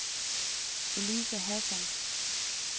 Elise Hassan